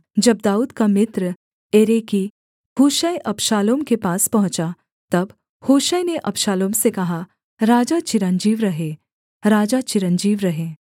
जब दाऊद का मित्र एरेकी हूशै अबशालोम के पास पहुँचा तब हूशै ने अबशालोम से कहा राजा चिरंजीव रहे राजा चिरंजीव रहे